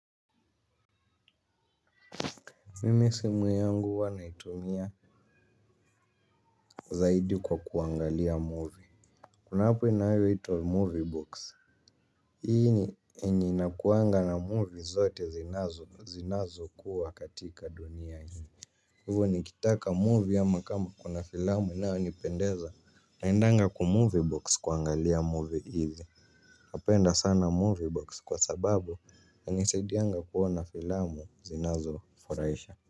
Mimi simu yangu huwa naitumia zaidi kwa kuangalia movie. Kuna app inayoitwa movie box. Hii ni enye inakuangana movie zote zinazo zinazo kuwa katika duni hii. Hio nikitaka movie ama kama kuna filmu inayo nipendeza naendanga kumove box kuangalia movie ile. Apenda sana movie box kwa sababu inanisedianga kuona filmu zinazo nifurahisha.